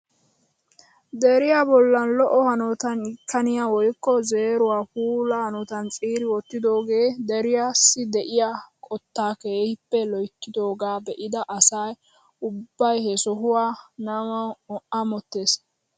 Deriyaa bollan lo"o hanotan itkaniyaa woykko zeeruwaa puula hanotan ciiri wottidoogee deriyaassi de'iyaa qoottaa keehippe loyttidooga be'ida asa ubbay he sohuwaa namawu amottees!